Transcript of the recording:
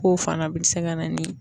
K'o fana bi se ka na ni